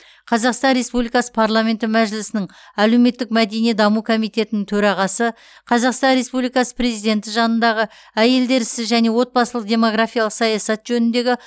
қазақстан республикасы парламенті мәжілісінің әлеуметтік мәдени даму комитетінің төрағасы қазақстан республикасы президенті жанындағы әйелдер ісі және отбасылық демгорафиялық саясат жөніндегі